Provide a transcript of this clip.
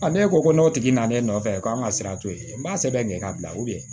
ne ko ko n'o tigi nana n'e nɔfɛ ko an ka sira to yen n b'a sɛbɛn kɛ k'a bila